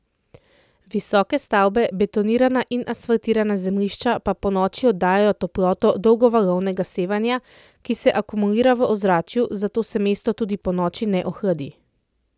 Visoke stavbe, betonirana in asfaltirana zemljišča pa ponoči oddajajo toploto dolgovalovnega sevanja, ki se akumulira v ozračju, zato se mesto tudi ponoči ne ohladi.